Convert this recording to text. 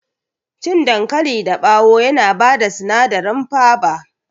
Cikin dankali dabawo yana bada sinadari faba